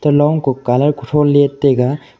ka long ko colour kutho let taiga.